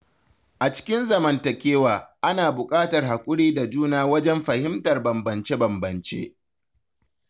A cikin zamantakewa, ana buƙatar haƙuri da juna wajen fahimtar bambance-bambance.